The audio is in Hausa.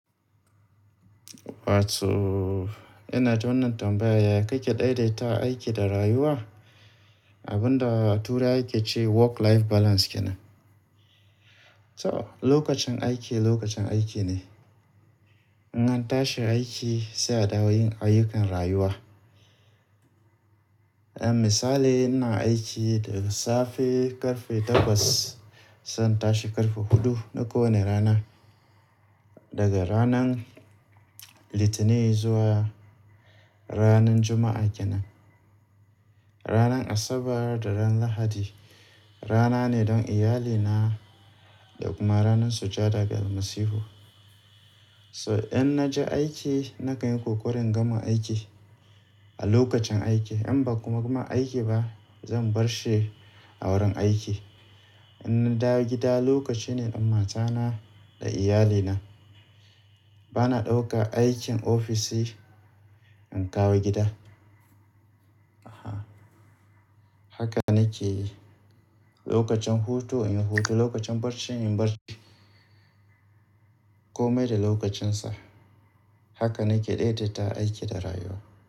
Wato, ina da wannan tambaya ya ya kake daidaita aiki da rayuwa? Abunda a turai ake cewa work life balance kenan. So lokacin aiki lokacin aiki ne. Idan an tashi aiki sai a dawo yin ayyukan rayuwa. Eh misali ina aiki daga safe ƙarfe takwas zan tashi ƙarfe huɗu na ko wane rana. Daga ranan litinin zuwa ranan juma'a kenan. Ranar Asabar da ran Lahadi rana ne don iyalina da kuma ranar sujada ga Almasihu. So in naje aiki na kan yi ƙoƙari in gama aiki a lokacin aiki. In ba kuma gama aiki ba zan barshi a wurin aiki. In na dawo gida lokaci ne don matana da iyalina. Bana ɗauka aikin ofishi in kawo gida. Aha. Haka nake yi. Lokacin hutu inyi hutu, lokacin barci inyi barci. Komai da lokacinsa. Haka nake daidaita aiki da rayuwa.